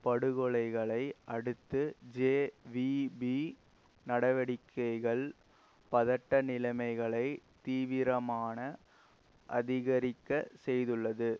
படுகொலைகளை அடுத்து ஜேவிபி நடவடிக்கைகள் பதட்ட நிலைமைகளை தீவிரமான அதிகரிக்க செய்துள்ளது